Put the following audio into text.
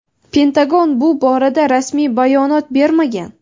Pentagon bu borada rasmiy bayonot bermagan.